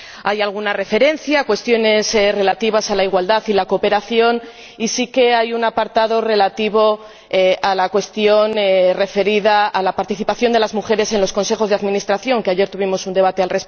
Hay alguna referencia a cuestiones relativas a la igualdad y la cooperación, y sí que hay un apartado relativo a la cuestión referida a la participación de las mujeres en los consejos de administración, sobre la que ayer debatimos.